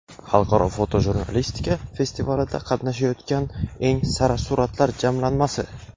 Xalqaro fotojurnalistika festivalida qatnashayotgan eng sara suratlar jamlanmasi.